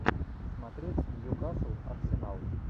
смотреть ньюкасл арсенал